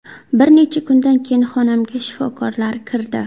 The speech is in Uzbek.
Bir necha kundan keyin xonamga shifokorlar kirdi.